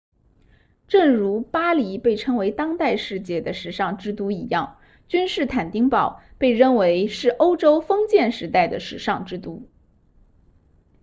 正如巴黎被称为当代世界的时尚之都一样君士坦丁堡被认为是欧洲封建时代的时尚之都